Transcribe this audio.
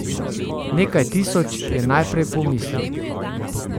Nekaj tisoč, je najprej pomislil.